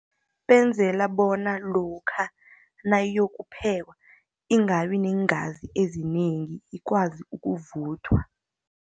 Benzela bona lokha nayokuphekwa, ingabi neengazi ezinengi, ikwazi ukuvuthwa.